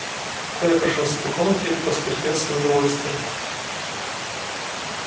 коля прошёлся по комнате поскрипел в своё удовольствие